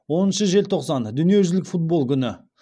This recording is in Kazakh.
оныншы желтоқсан дүниежүзілік футбол күні